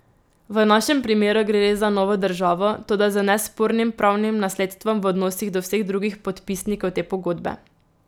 V našem primeru gre res za novo državo, toda z nespornim pravnim nasledstvom v odnosih do vseh drugih podpisnikov te pogodbe.